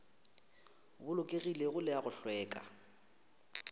bolokegilego le a go hlweka